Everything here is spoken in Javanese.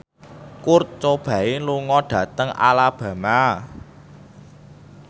Kurt Cobain lunga dhateng Alabama